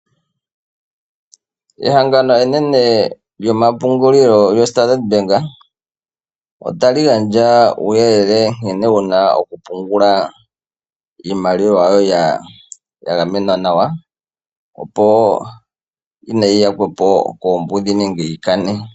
Ehangano enene lyomapungulilo lyoStandard Bank , ota li gandja uuyelele nkene wuna okupungula Iimaliwa yoye yagamenwa nawa, opo kaayi yakwepo koombudhi nenge yikane.